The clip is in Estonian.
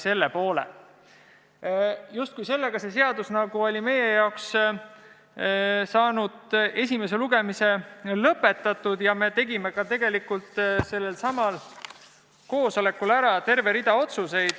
Sellega oli selle seaduse esimene lugemine lõpetatud ja me tegime sellelsamal koosolekul ära terve rea otsuseid.